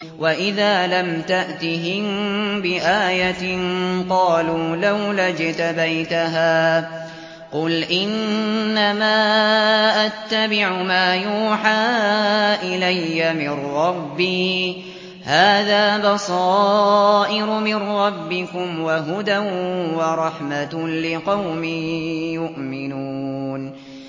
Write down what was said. وَإِذَا لَمْ تَأْتِهِم بِآيَةٍ قَالُوا لَوْلَا اجْتَبَيْتَهَا ۚ قُلْ إِنَّمَا أَتَّبِعُ مَا يُوحَىٰ إِلَيَّ مِن رَّبِّي ۚ هَٰذَا بَصَائِرُ مِن رَّبِّكُمْ وَهُدًى وَرَحْمَةٌ لِّقَوْمٍ يُؤْمِنُونَ